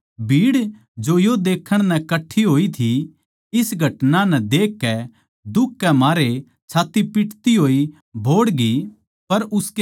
अर भीड़ जो यो देक्खण नै कट्ठी होई थी इस घटना नै देखकै दुख के मारे छात्त्ती पीटती होई बोहड्गी